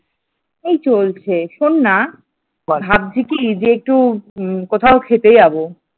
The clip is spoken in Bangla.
এই চলছে শোন না, ভাবছি কি যে একটু কোথাও খেতে যাব।